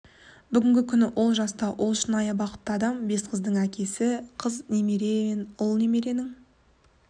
бүгінгі күні ол жаста ол шынайы бақытты адам бес қыздың әкесі қыз немере мен ұл немеренің